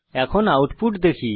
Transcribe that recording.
এখন আউটপুট দেখি